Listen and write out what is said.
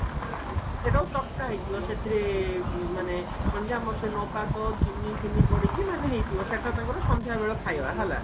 ସେଟାକୁ ଚକଟା ହେଇଥିବ ସେଥିରେ ମାନେ କଣ ଯେ ଆମର ସେ ନବାତ ଚିନି ଫିନି ପଡିକି ମାନେ ହେଇଥିବା ସେଟା ତାଙ୍କର ସନ୍ଧ୍ୟାବେଳ ଖାଇବା ହେଲା